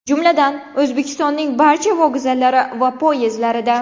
Jumladan, O‘zbekistonning barcha vokzallari va poyezdlarida!